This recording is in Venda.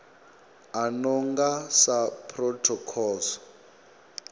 a no nga sa protocols